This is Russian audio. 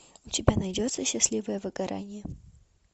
у тебя найдется счастливое выгорание